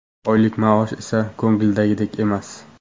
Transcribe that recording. Oylik maosh esa ko‘ngildagidek emas.